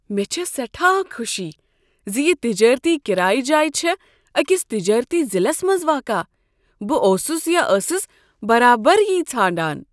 مےٚ چھےٚ سیٚٹھاہ خوشی زِ یہ تجٲرتی کرایہ جاے چھےٚ أکس تجٲرتی ضلعس منٛز واقع، بہٕ اوسُس یا ٲسٕس برابر یی ژھانٛڈان